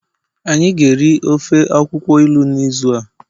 anyi ga eri ofe akwukwo ilu n'izu a